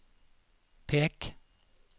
pek